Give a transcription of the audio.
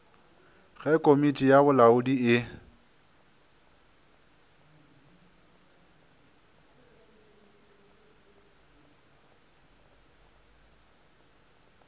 ge komiti ya bolamodi e